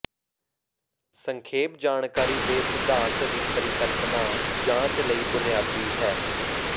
ਸੰਖੇਪ ਜਾਣਕਾਰੀ ਦੇ ਸਿਧਾਂਤ ਦੀ ਪਰਿਕਲਪਨਾ ਜਾਂਚ ਲਈ ਬੁਨਿਆਦੀ ਹੈ